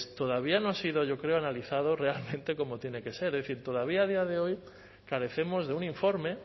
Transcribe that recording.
todavía no ha sido analizado realmente cómo tiene que ser es decir todavía a día de hoy carecemos de un informe